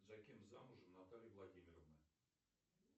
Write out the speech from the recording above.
за кем замужем наталья владимировна